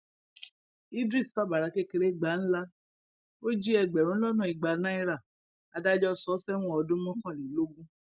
idris fàbàrà kékeré gbà ńlá ó jí ẹgbẹrún lọnà igba naira adájọ sọ ọ sẹwọn ọdún mọkànlélógún